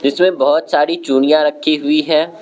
इसमें बहोत सारी चूड़ियां रखी हुई है।